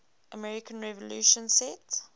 american revolution set